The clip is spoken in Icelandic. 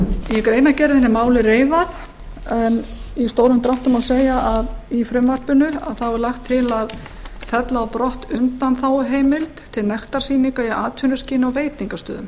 greinargerðinni er málið reifað en í stórum dráttum má segja að í frumvarpinu er lagt til að fella á brott undanþáguheimild til nektarsýninga í atvinnuskyni á veitingastöðum